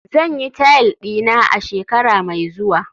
zan yi tile dina a shekara mai zuwa